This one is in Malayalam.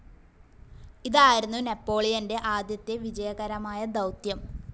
ഇതായിരുന്നു നെപോളിയന്റെ ആദ്യത്തെ വിജയകരമായ ദൗത്യം.